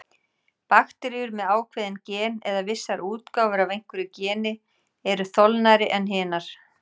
Bakteríur með ákveðin gen, eða vissar útgáfur af einhverju geni, eru þolnari en hinar.